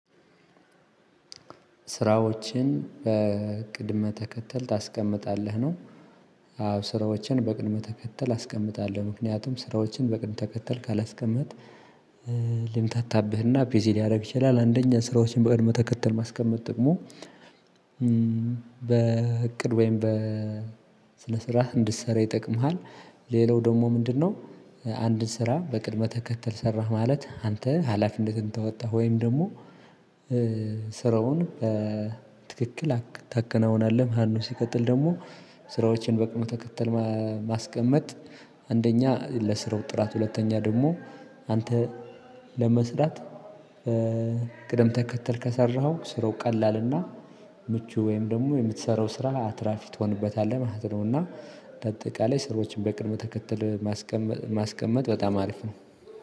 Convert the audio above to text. ስራዎችን በቅድመ ተከተል ታስቀምጣለህ ነው አዎ ስራዎችን በቅድመ ተከተል አስቀምጣለሁ። ምክንያቱም ስራዎችን በቅድመ ተከተል ካላስቀመጥክ ልንታታብህና ፒዚል ሊያደርግ ይችላል አንደኛ ስራዎችን በእድሜ ተከተል ማስቀመጥ ጥቅሙ በእቅድ ወይ በስነ ስርዓት እንድትሰራ ይጠቅማል። ሌላው ደግሞ ምንድነው አንድን ስራ በቅድመ ተከተል ሰራህ ማለት አንተ ሀላፊነትህን ተወጣህ ወይም ደግሞ ስራውን በትክክል ታከናውናለህ መሃኑ ሲቀጥል ደግሞ ስራዎችን በቅመ ተከተል ማስቀመጥ አንደኛ ለስራው ጥራት ሁለተኛ ደግሞ አንተ ለመስራት ቅደም ተከተል ከሰራኸው ስሮ ቀላልና ምቹ ወይም ደግሞ የምትሰራው ስራ አትራፊ ትሆንበታለህ ማለት ነው እና አጠቃላይ ስራዎችን በቅድመ ተከተል ማስቀመጥ በጣም አሪፍ ነው።